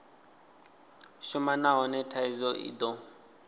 shuma nahone thaidzo i do